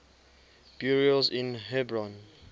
burials in hebron